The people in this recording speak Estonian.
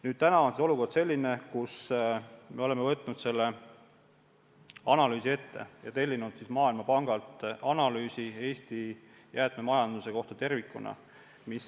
Nüüd on olukord selline, et me oleme võtnud selle analüüsi ette ja tellinud siis Maailmapangalt analüüsi Eesti jäätmemajanduse kohta tervikuna.